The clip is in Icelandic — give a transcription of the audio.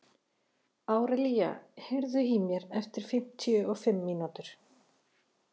Hann er leiðtogi og hefur bætt þau gæði.